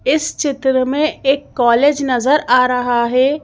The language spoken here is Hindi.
इस चित्र में एक कॉलेज नजर आ रहा है।